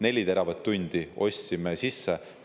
Neli teravatt-tundi ostsime sisse.